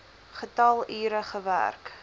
getal ure gewerk